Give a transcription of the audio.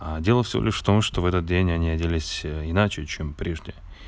а дело всего лишь в том что в этот день они оделись иначе чем прежде